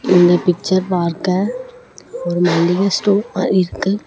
இந்த பிக்சர் பார்க்க ஒரு மளிக ஸ்டார் மாறி இருக்கு.